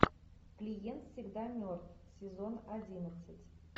клиент всегда мертв сезон одиннадцать